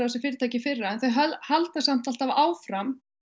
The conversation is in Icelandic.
þessi fyrirtæki í fyrra en þau halda samt alltaf áfram